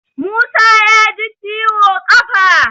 Musa ya ji ciwo ƙafa